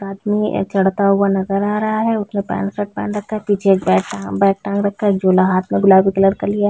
एक आदमी चढ़ता हुआ नजर आ रहा है उसने पेंट शर्ट पहन रखा है पीछे एक बैग बैग टांग रखा है झोला हाथ में गुलाबी कलर का लिया है।